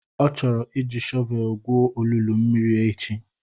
Ọ chọrọ iji shọvelu gwuo olulu mmiri echi.